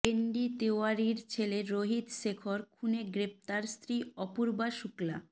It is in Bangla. এনডি তিওয়ারির ছেলে রোহিত শেখর খুনে গ্রেফতার স্ত্রী অপূর্বা শুক্লা